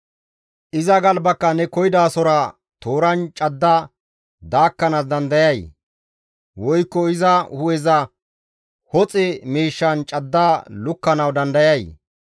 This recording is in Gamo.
Iza galbakka ne koyidasora tooran cadda daakkanaas dandayay? Woykko iza hu7eza hoxe miishshan cadda lukkanawu dandayay?